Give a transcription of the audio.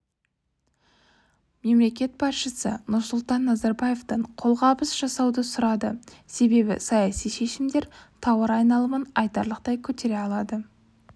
мемлекет басшысы нұрсұлтан назарбаевтан қолғабыс жасауды сұрады себебі саяси шешімдер тауар айналымын айтарлықтай көтере алады